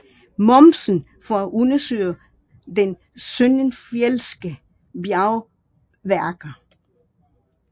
Momsen for at undersøge de søndenfjeldske bjergværker